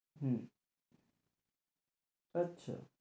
হম আচ্ছা